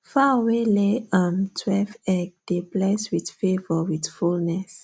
fowl wey lay um twelve egg dey bless with favour with fullness